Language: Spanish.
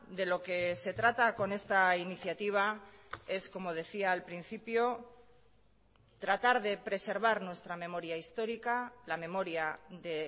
de lo que se trata con esta iniciativa es como decía al principio tratar de preservar nuestra memoria histórica la memoria de